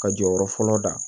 Ka jɔyɔrɔ fɔlɔ da